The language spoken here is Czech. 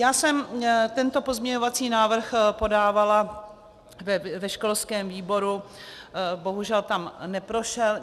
Já jsem tento pozměňovací návrh podávala ve školském výboru, bohužel tam neprošel.